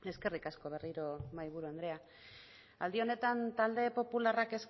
eskerrik asko berriro mahaiburu andrea aldi honetan talde popularrak